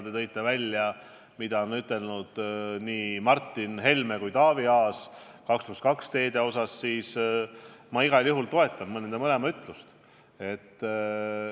Te tõite välja, mida on ütelnud nii Martin Helme kui ka Taavi Aas 2 + 2 teede kohta – ma igal juhul toetan nende mõlema seisukohti.